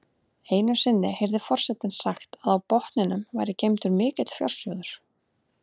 Einu sinni heyrði forsetinn sagt að á botninum væri geymdur mikill fjársjóður.